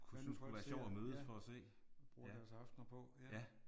Hvad nu folk ser ja. Bruger deres aftener på ja